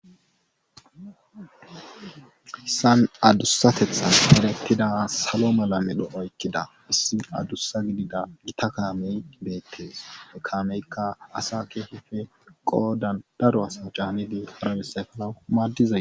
Hayssan adussateththan eretida salo mala medho oykida isi adussa gidida gita kame betees. he kaamekka asa keehippe qoodan daro caanidi efanawu maadidayssakko.